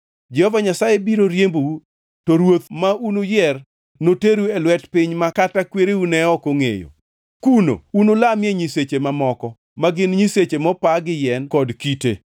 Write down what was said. Jehova Nyasaye biro riembou, to ruoth ma unuyier notelnu noteru e lwet piny ma kata kwereu ne ok ongʼeyo. Kuno unulamie nyiseche mamoko, ma gin nyiseche mopa gi yien kod kite.